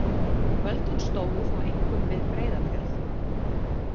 Völd hans stóðu þó einkum við Breiðafjörð.